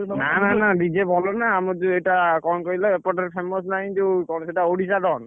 ନା ନା ନା DJ ବଜେଇବୁ ନା ଆମର ଯୋଉ ଏଇଟା କଣ କହିଲ ଏପଟରେ famous ନାହିଁ ଯୋଉ କଣ ସେଇଟା ଓଡ଼ିଶାର